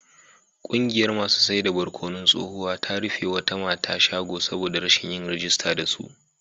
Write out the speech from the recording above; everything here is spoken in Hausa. Kungiyar masu saida barkonon tsohuwa ta rufe wata mata shago saboda rashin yin rijista da su